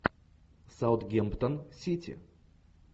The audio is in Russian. саутгемптон сити